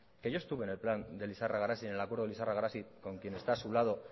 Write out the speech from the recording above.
que yo estuve en el plan de lizarra garazi en el acuerdo de lizarra garazi con quien está a su lado